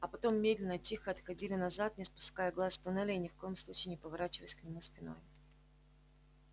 а потом медленно тихо отходили назад не спуская глаз с туннеля и ни в коем случае не поворачиваясь к нему спиной